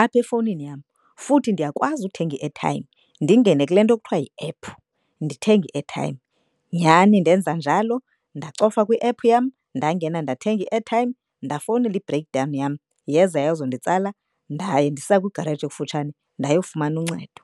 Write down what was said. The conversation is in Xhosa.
apha efowunini yam. Futhi ndiyakwazi uthenga i-airtime ndingene kule nto kuthiwa yi-app ndithenge i-airtime. Nyhani ndenza njalo ndacofa kwi-app yam ndangena ndathenga i-airtime ndafowunela i-break down yam yeza yazonditsala. Ndaye ndisa kwigaraji ekufutshane ndayofumana uncedo.